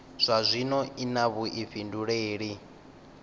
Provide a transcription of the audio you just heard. zwa zwino i na vhuifhinduleli